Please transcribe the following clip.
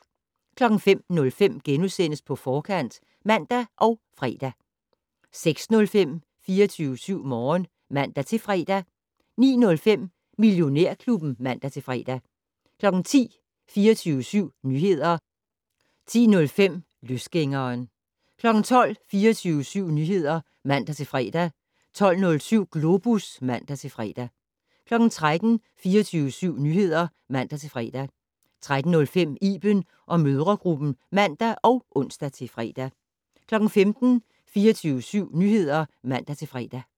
05:05: På Forkant *(man og fre) 06:05: 24syv Morgen (man-fre) 09:05: Millionærklubben (man-fre) 10:00: 24syv Nyheder (man-fre) 10:05: Løsgængeren 12:00: 24syv Nyheder (man-fre) 12:07: Globus (man-fre) 13:00: 24syv Nyheder (man-fre) 13:05: Iben & mødregruppen (man og ons-fre) 15:00: 24syv Nyheder (man-fre)